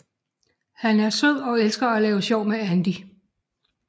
Han er sød og elsker at lave sjov med Andy